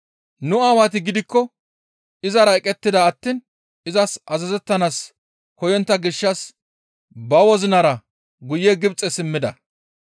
«Nu Aawati gidikko izara eqettida attiin izas azazettanaas koyontta gishshas ba wozinara guye Gibxe simmida.